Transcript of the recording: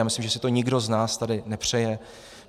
Já myslím, že si to nikdo z nás tady nepřeje.